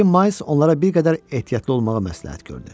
Lakin Mayls onlara bir qədər ehtiyatlı olmağı məsləhət gördü.